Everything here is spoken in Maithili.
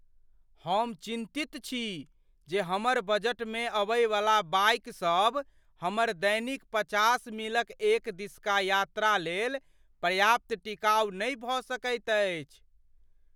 हम चिन्तित छी जे हमर बजटमे अबयवला बाइक सब हमर दैनिक पचास मीलक एक दिसका यात्रा लेल पर्याप्त टिकाउ नहि भऽ सकैत अछि।